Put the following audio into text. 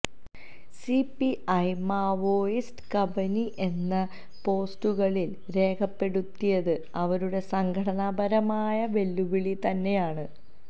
CPI Maoist Kabani എന്ന് പോസ്റ്ററുകളില് രേഖപെടുത്തിയത് അവരുടെ സംഘടനാപരമായ വെല്ലുവിളിതന്നെയാണ്